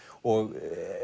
og